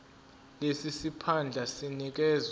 lesi siphandla sinikezwa